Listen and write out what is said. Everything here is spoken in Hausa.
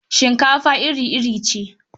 Shinkafa iri-iri ce.